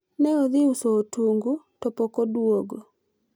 ne odhi uso otungu to pok odwogo